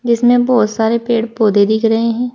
जिसमें बहुत सारे पेड़ पौधे दिख रहे हैं।